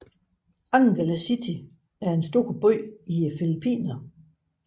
Angeles City er en stor by i Filippinerne